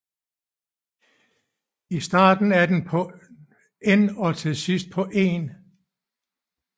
I starten er den på N og til sidst på 1